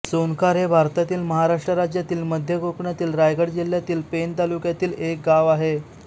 सोनखार हे भारतातील महाराष्ट्र राज्यातील मध्य कोकणातील रायगड जिल्ह्यातील पेण तालुक्यातील एक गाव आहे